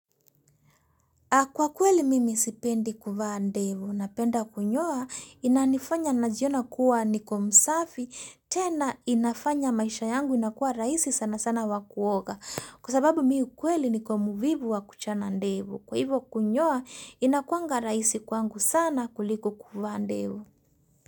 Kwa kweli mimi sipendi kuvaa ndevu, napenda kunyoa inanifanya najiona kuwa niko msafi, tena inafanya maisha yangu inakuwa raisi sana sana wa kuoga, kwa sababu mi ukweli niko muvivu wa kuchana ndevu, kwa hivo kunyoa inakuanga raisi kwangu sana kuliko kuvaa ndevu.